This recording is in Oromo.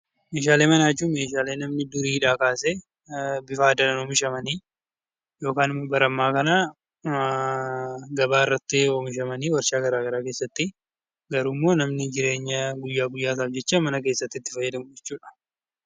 Meeshaalee manaa jechuun meeshaalee namni duriidhaa kasee bifa aadaan oomishamanii, yookaan ammoo bara ammaa kana gabaa irratti oomishamanii waarshaa gara garaa keessatti garuummoo namni jireenya guyyaa guyyaa isaaf jecha mana keessatti itti fayyadamu jechuudha.